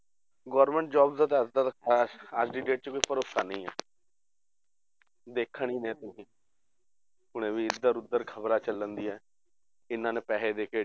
Government job ਦਾ ਜ਼ਿਆਦਾਤਰ ਹੈ ਅੱਜ ਦੀ date 'ਚ ਕੋਈ ਭਰੋਸਾ ਨਹੀਂ ਹੈ ਦੇਖਿਆ ਹੀ ਹੈ ਤੁਸੀਂ ਹੁਣੇ ਵੀ ਇੱਧਰ ਉੱਧਰ ਖ਼ਬਰਾਂ ਚੱਲਦੀਆਂ ਕਿ ਇਹਨਾਂ ਨੇ ਪੈਸੇ ਦੇ ਕੇ